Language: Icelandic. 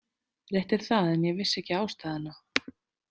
Rétt er það en ég vissi ekki ástæðuna.